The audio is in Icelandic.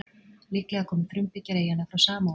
Líklega komu frumbyggjar eyjanna frá Samóa.